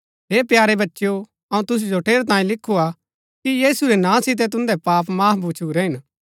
हे प्यारे बच्चेओ अऊँ तुसु जो ठेरैतांये लिखुआ कि यीशु रै नां सितै तुन्दै पाप माफ भछूरै हिन